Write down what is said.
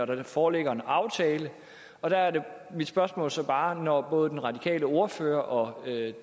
der foreligger en aftale og der er mit spørgsmål så bare når både den radikale ordfører og